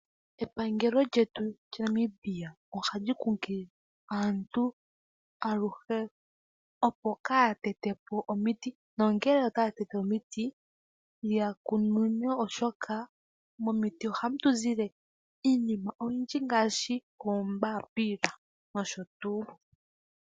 Epangelo lyetu Namibia oha li kunkilile aantu aluhe opo kaaya tetepo omiti, nongele otaya tete omiti yakununune oshoka momiti ohamu tu zile iinima oyindji ngaashi oombapila noshotuu .